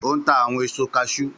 Ó ń ta àwọn èso kashúú